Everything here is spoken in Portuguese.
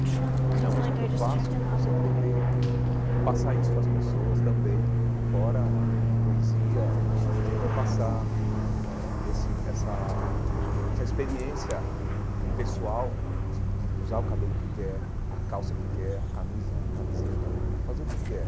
E e na música que eu faço, eu sempre tentei passar isso para as pessoas também, fora a a poesia eh, mas também passar eh ãh esse essa essa experiência pessoal de de usar o cabelo que quer, a calça que quer, a camisa, a camiseta, fazer o que quer.